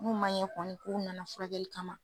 N'u ma ɲe kɔni k'u nana furakɛli kama